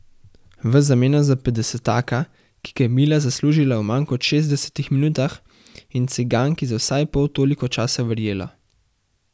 V zameno za petdesetaka, ki ga je Mila zaslužila v manj kot šestdesetih minutah in ciganki za vsaj pol toliko časa verjela.